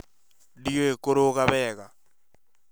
Ndiũĩ kũruga wega